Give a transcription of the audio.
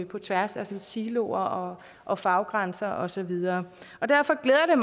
på tværs af siloer og og faggrænser og så videre derfor glæder